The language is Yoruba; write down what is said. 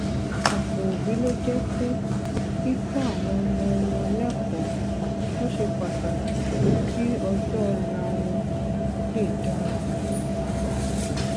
òpò òbí ló jé pé kíkó àwọn ọmọ wọn lékòó ló ṣe pàtàkì jù kí ọjó òla wọn lè dára